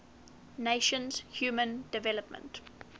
nations human development